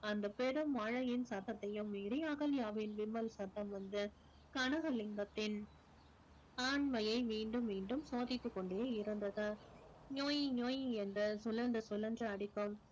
அந்த பெரும் மழையின் சத்தத்தையும் மீறி அகல்யாவின் விம்மல் சத்தம் வந்து கனகலிங்கத்தின் ஆண்மையை மீண்டும் மீண்டும் சோதித்துக் கொண்டே இருந்தது என்ற சுழன்று சுழன்று அடிக்கும்